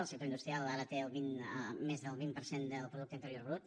el sector industrial ara té més del vint per cent del producte interior brut